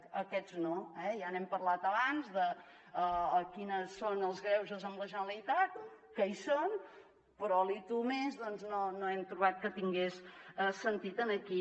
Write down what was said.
doncs aquests no eh ja n’hem parlat abans de quins són els greuges amb la generalitat que hi són però l’ i tu més no hem trobat que tingués sentit aquí